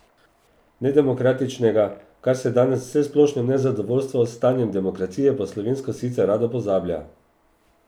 Nedemokratičnega, kar se danes v vsesplošnem nezadovoljstvu s stanjem demokracije po slovensko sicer rado pozablja.